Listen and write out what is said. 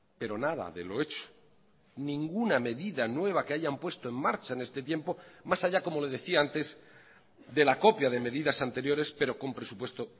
pero nada de lo hecho ninguna medida nueva que hayan puesto en marcha en este tiempo más allá como le decía antes de la copia de medidas anteriores pero con presupuesto